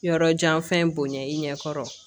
Yɔrɔ jan fɛn bonya i ɲɛ kɔrɔ